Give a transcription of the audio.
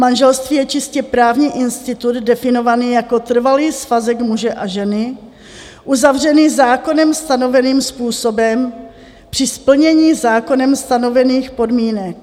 Manželství je čistě právní institut definovaný jako trvalý svazek muže a ženy, uzavřený zákonem stanoveným způsobem při splnění zákonem stanovených podmínek.